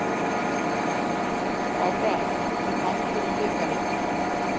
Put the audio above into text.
KÁRA til hamingju með bikarinn.